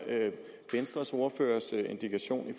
venstres ordførers indikation